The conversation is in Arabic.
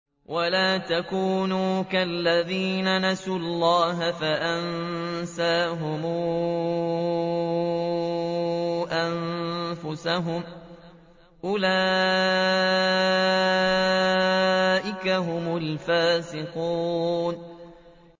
وَلَا تَكُونُوا كَالَّذِينَ نَسُوا اللَّهَ فَأَنسَاهُمْ أَنفُسَهُمْ ۚ أُولَٰئِكَ هُمُ الْفَاسِقُونَ